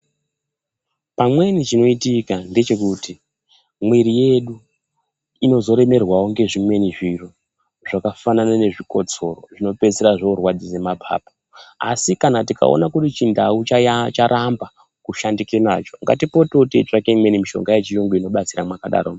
Pamweni chinoitika ndechekuti miri yedu inozorEmerwawo ngezvimweni zviro zvakafanana nezvikotsoro zvinopeisira zvorwadzise mapapu asi kana tikaone kuti chindau chaya charamba kushandike nacho ngatipotewo teitsvake imweni mushonga yechirungu inobatsira mwakadaromwo.